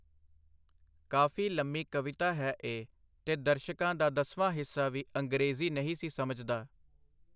ਕਾਫੀ ਲੰਮੀ ਕਵਿਤਾ ਹੈ ਇਹ, ਤੇ ਦਰਸ਼ਕਾਂ ਦਾ ਦਸਵਾਂ ਹਿੱਸਾ ਵੀ ਅੰਗਰੇਜ਼ੀ ਨਹੀਂ ਸੀ ਸਮਝਦਾ.